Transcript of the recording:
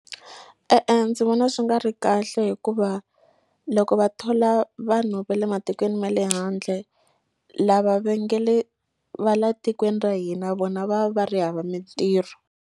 E-e ndzi vona swi nga ri kahle hikuva loko va thola vanhu va le matikweni ma le handle lava va nge le va la tikweni ra hina vona va va ri hava mintirho.